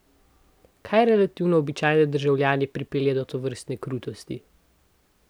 Kaj relativno običajne državljane pripelje do tovrstne krutosti?